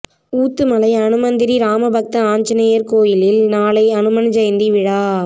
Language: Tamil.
ஊத்துமலை அனுமந்தபுரி ராமபக்த ஆஞ்சநேயர் கோயிலில் நாளை அனுமன் ஜெயந்தி விழா